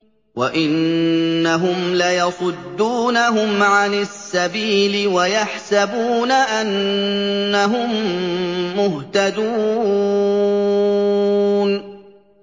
وَإِنَّهُمْ لَيَصُدُّونَهُمْ عَنِ السَّبِيلِ وَيَحْسَبُونَ أَنَّهُم مُّهْتَدُونَ